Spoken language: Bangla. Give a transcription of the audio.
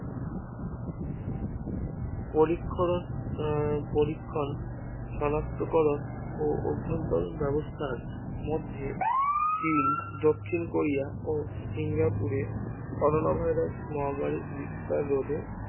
পদিক্ষরণ ও পরীক্ষণ শনাক্তকরণ ও অভ্যন্তরন ব্যবস্থার মধ্যে চিন দক্ষিণ কোরিয়া ও সিঙ্গাপুরে করোনা Virus মহামারী বিস্তার রোধে